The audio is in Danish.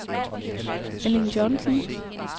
Erling Johnsen